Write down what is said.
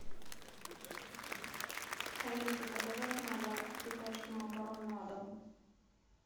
алиса заказать надо три пачки макарон на дом